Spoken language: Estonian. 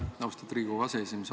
Aitäh, austatud Riigikogu aseesimees!